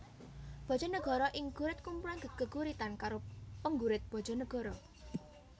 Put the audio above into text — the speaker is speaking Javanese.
Bojonegoro Ing Gurit kumpulan geguritan karo penggurit Bojonegoro